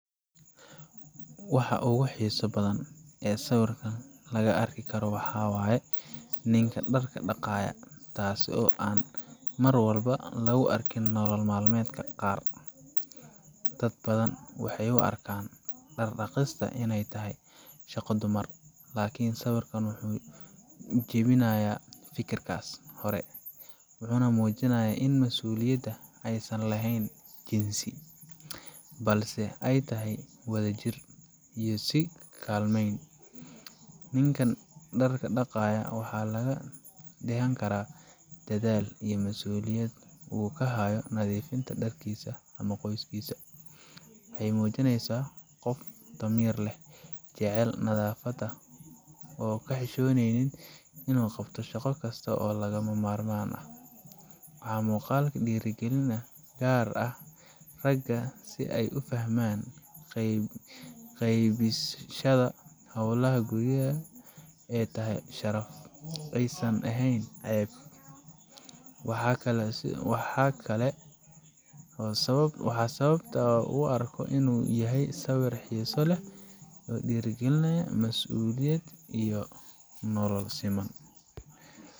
Waxa ugu xisa badan waxa waye ninka dharka naayo, tasii oo mar walba an lagu arkin nolol madmedka qaar ,Dadka badan waxey u arkan marya dhaqistu iney tahay shaqo dumar, lakin sawirkan wuxu jiwinaya fikirkas, wuxuna mujinaya ini masuliyada aysan laheyn jinsi balse ay tahay wadajir iyo isku kalmeyn. Ninkan dharka daqayo waxa laga dhahani kara dadhal iyo nadifinta dharkisa ama qoyskisa, waxey mujineysa qof damir leh, jacel nadafada oo ka hishoneynin, shaqo ksto oo laga marman ah .Muqalka waxa dhiro gelinaya gar ah, raga si ay u fahman qeybis shada howlaha guryaha oo guryaha ay san aheyn ,waxa kale u arko inu yahay sawir xiso leh oo dhira gelinayo masuliyad iyo nolol siman.